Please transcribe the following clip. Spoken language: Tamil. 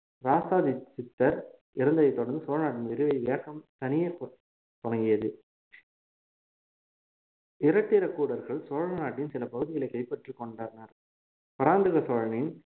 இராசாதித்தார் இறந்ததை தொடர்ந்து சோழநாட்டின் விரிவு வேகம் தணிய தொ~ தொடங்கியது இராட்டிரகூடர்கள் சோழ நாட்டின் சில பகுதிகளைக் கைப்பற்றிக் கொண்டனர் பராந்தக சோழனின்